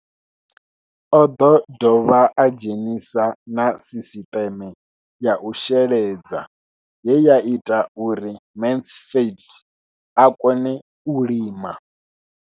O ḓo dovha a dzhenisa na sisiṱeme ya u sheledza ye ya ita uri Mansfied a kone u lima.